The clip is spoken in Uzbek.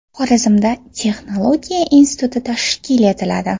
Xorazmda texnologiya instituti tashkil etiladi.